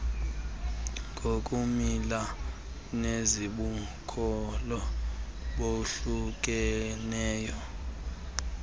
ngokumila nezibukhulu bahlukeneyo